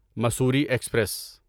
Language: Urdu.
مصوری ایکسپریس